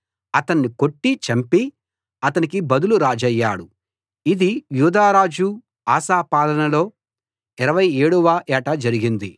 అతన్ని కొట్టి చంపి అతనికి బదులు రాజయ్యాడు ఇది యూదారాజు ఆసా పాలనలో 27 వ ఏట జరిగింది